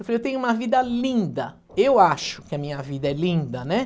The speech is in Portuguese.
tenho uma vida linda, eu acho que a minha vida é linda, né?